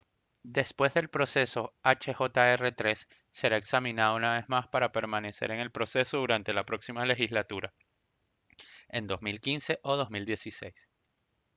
después del proceso hjr-3 será examinado una vez más para permanecer en el proceso durante la próxima legislatura en 2015 o 2016